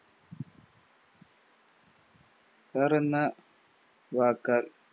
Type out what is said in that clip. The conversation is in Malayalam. Car എന്ന വാക്ക്